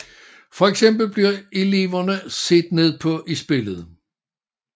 For eksempel bliver elvere set ned på i spillet